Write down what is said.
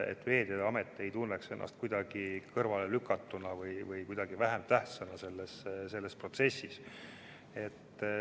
Siis Veeteede Amet ei tunne ennast kuidagi kõrvale lükatuna või kuidagi vähem tähtsana selles protsessis.